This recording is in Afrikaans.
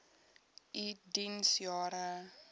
u diens jare